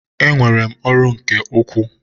Enwere m ọrụ nke ukwuu.